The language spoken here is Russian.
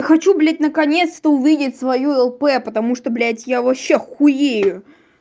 хочу блять наконец-то увидеть свою лп потому что блять я вообще хуею